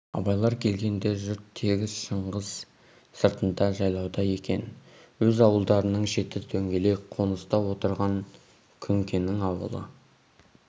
абайлар келгенде жұрт тегіс шыңғыс сыртында жайлауда екен өз ауылдарының шеті дөңгелек қоныста отырған күнкенің ауылы